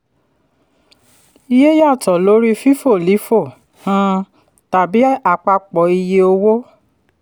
iye yàtọ̀ lórí fifo lifo um tàbí àpapọ iye owó